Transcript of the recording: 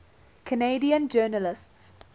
canadian journalists